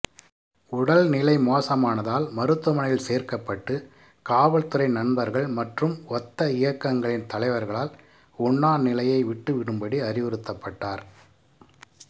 உடல்நிலை மோசமானதால் மருத்துவமனையில் சேர்க்கப்பட்டு காவல்துறை நண்பர்கள் மற்றும் ஒத்த இயக்கங்களின் தலைவர்களால் உண்ணாநிலையை விட்டுவிடும்படி அறிவுறுத்தப்பட்டார்